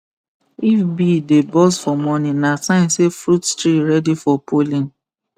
if bee dey buzz for morning na sign say fruit tree ready for pollen